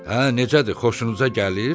Hə, necədir, xoşunuza gəlir?